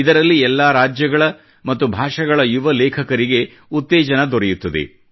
ಇದರಲ್ಲಿ ಎಲ್ಲಾ ರಾಜ್ಯಗಳ ಮತ್ತು ಭಾಷೆಗಳ ಯುವ ಲೇಖಕರಿಗೆ ಉತ್ತೇಜನ ದೊರೆಯುತ್ತದೆ